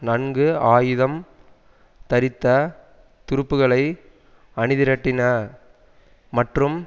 நன்கு ஆயுதம் தரித்த துருப்புக்களை அணிதிரட்டின மற்றும்